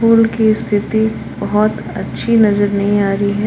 पुल की स्थिति बहुत अच्छी नजर नहीं आ रही है।